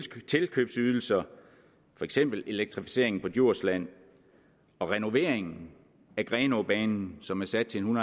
tilkøbsydelser for eksempel elektrificeringen på djursland og renoveringen af grenaabanen som er sat til en